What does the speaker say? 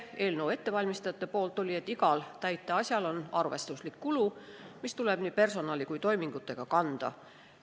Eelnõu ettevalmistajate vastuväide oli see, et igal täiteasjal on arvestuslik kulu, mis hõlmab nii personali kui ka toimingute tegemisega seotud kulu.